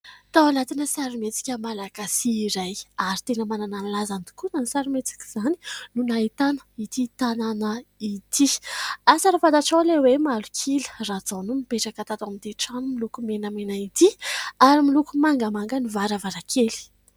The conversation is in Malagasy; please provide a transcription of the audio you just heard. Tao anatina sarimihetsika malagasy iray, ary tena manana ny lazany tokoa izany sarimihetsika izany, no nahitana ity tanàna ity. Asa raha fantatrao ilay hoe malok'ila. Rajao no nipetraka tato amin'ity trano miloko menamena ity ary miloko mangamanga ny varavarankely.